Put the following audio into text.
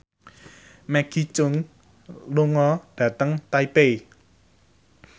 Maggie Cheung lunga dhateng Taipei